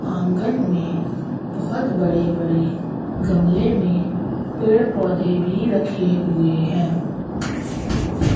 आंगन में बहुत बड़े बड़े गमले में पेड़ पौधे भी रखे हुए हैं।